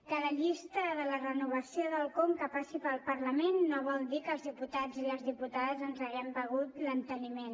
que la llista de la renovació del conca passi pel parlament no vol dir que els diputats i les diputades ens haguem begut l’enteniment